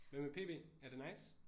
Hvad med PB? Er det nice?